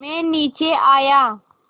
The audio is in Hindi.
मैं नीचे आया